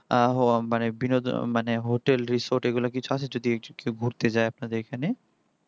আহ হ hotel resort এগুলা কি কিছু আছে যদি কেও ঘুরতে যায় আপনাদের এখানে